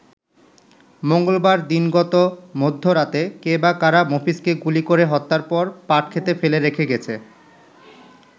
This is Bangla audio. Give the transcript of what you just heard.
মঙ্গলবার দিনগত মধ্য রাতে কে বা কারা মফিজকে গুলি করে হত্যার পর পাটক্ষেতে ফেলে রেখে গেছে।